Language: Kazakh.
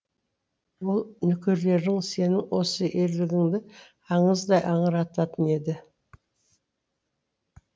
ол нөкерлерің сенің осы ерлігіңді аңыздай аңырататын еді